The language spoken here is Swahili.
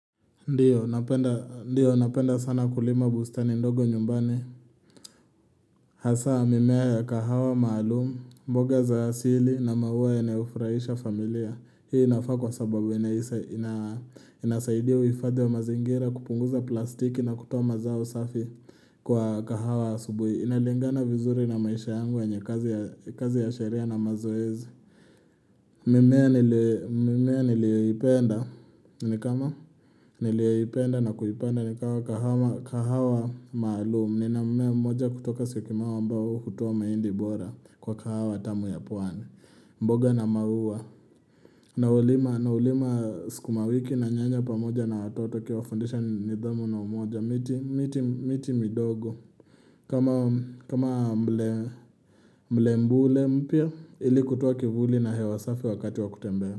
Ndio, napenda sana kulima bustani ndogo nyumbani. Hasa, mimea ya kahawa maalumu, mboga za asili na maua yanayo furahisha familia. Hii inafaa kwa sababu, inasaidia uifadhi wa mazingira kupunguza plastiki na kutoa mazao safi kwa kahawa asubui. Inalingana vizuri na maisha yangu yenye kazi ya sharia na mazoezi. Mimea niliyoipenda na kuipanda nikama kahawa maalumu Nina mmea mmoja kutoka siokinau ambao hutoa mahindi bora kwa kahawa tamu ya pwani mboga na maua na ulima sukumawiki na nyanya pamoja na watoto ukiwafudisha nidhamu na umoja miti midogo kama mlembule mpya ili kutua kivuli na hewa safi wakati wa kutembea.